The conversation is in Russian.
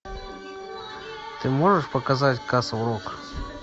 ты можешь показать касл рок